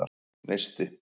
Neisti